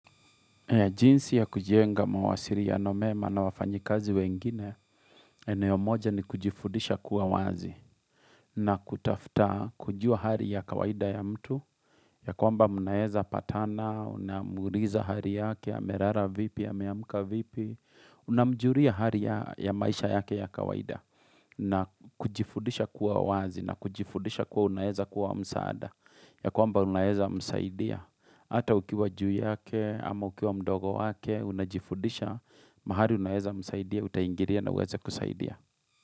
Jinsi ya kujienga mawasiriano mema na wafanyikazi wengine, eneo moja ni kujifudisha kuwa wazi na kutafta kujua hari ya kawaida ya mtu, ya kwamba mnaeza patana, unamuuliza hari yake, amerara vipi, ameamuka vipi, unamjuria hari ya maisha yake ya kawaida na kujifudisha kuwa wazi na kujifudisha kuwa unaeza kuwa msaada, ya kwamba unaeza msaidia. Hata ukiwa juu yake, ama ukiwa mdogo wake, unajifudisha, mahali unaweza msaidia, utaingiria na uweza kusaidia.